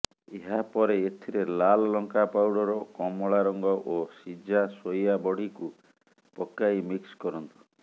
ଏହାପରେ ଏଥିରେ ଲାଲ ଲଙ୍କା ପାଉଠର କମଳା ରଙ୍ଗ ଏବଂ ସିଝା ସୋୟା ବଡିକୁ ପକାଇ ମିକ୍ସ କରନ୍ତୁ